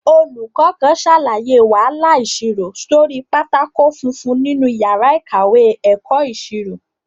Olùkọ́ kan ṣàlàyé wàhálà ìṣirò sórí pátákó funfun nínú yàrá ìkàwé ẹ̀kọ́ ìṣirò